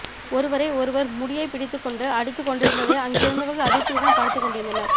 ஒருவரை ஒருவர் முடியை பிடித்துக்கொண்டு அடித்துக் கொண்டிருந்ததை அங்கிருந்தவர்கள் அதிர்ச்சியுடன் பார்த்துக் கொண்டிருந்தனர்